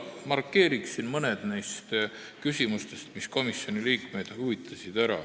Markeerin ära mõned neist küsimustest, mis komisjoni liikmeid huvitasid.